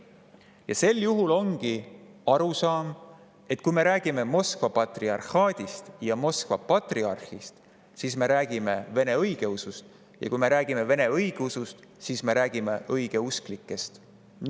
Ja sel juhul ongi arusaam, et kui me räägime Moskva patriarhaadist ja Moskva patriarhist, siis me räägime vene õigeusust, ja kui me räägime vene õigeusust, siis me räägime õigeusklikest.